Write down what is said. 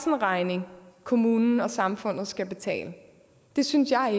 en regning kommunen og samfundet skal betale det synes jeg